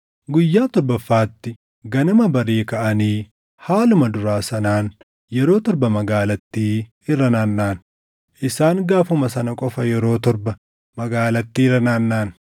Guyyaa torbaffaatti ganama barii kaʼanii haaluma duraa sanaan yeroo torba magaalattii irra naannaʼan; isaan gaafuma sana qofa yeroo torba magaalattii irra naannaʼan.